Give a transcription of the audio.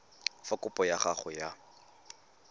fa kopo ya gago ya